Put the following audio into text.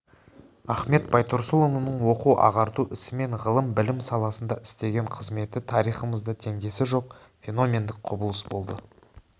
ахмет байтұрсынұлының оқу-ағарту ісі мен ғылым білім саласында істеген қызметі тарихымызда теңдесі жоқ феномендік құбылыс болды